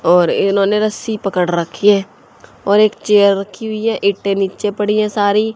और इन्होंने रस्सी पकड़ रखी है और एक चेयर रखी हुई है एक ट्रे नीचे पड़ी है सारी।